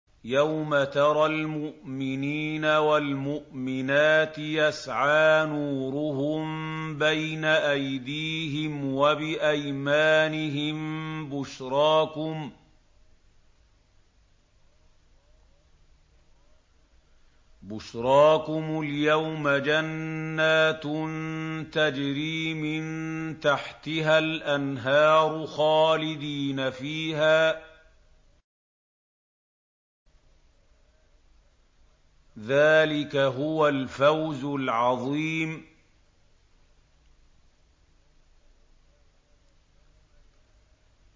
يَوْمَ تَرَى الْمُؤْمِنِينَ وَالْمُؤْمِنَاتِ يَسْعَىٰ نُورُهُم بَيْنَ أَيْدِيهِمْ وَبِأَيْمَانِهِم بُشْرَاكُمُ الْيَوْمَ جَنَّاتٌ تَجْرِي مِن تَحْتِهَا الْأَنْهَارُ خَالِدِينَ فِيهَا ۚ ذَٰلِكَ هُوَ الْفَوْزُ الْعَظِيمُ